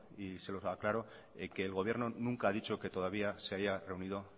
y se lo aclaro que el gobierno nunca ha dicho que todavía se haya reunido